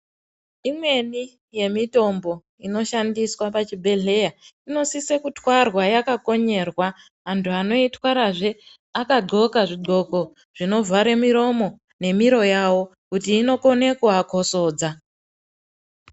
Imweni yemitombo inoshandiswa pachibhedhleya imosisa kutwarwa yakakonyerwa antu anoitwarazve ad'ola zvid'oko zvinovhare miromo nemiro yawo kuti inokone kuvakozodza.